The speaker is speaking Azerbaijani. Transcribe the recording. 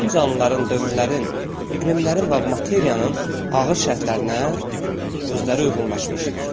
Bütün canlıların, dövrlərin, iqlimlərin, la materiyanın ağır şərtlərinə özləri uyğunlaşmışlar.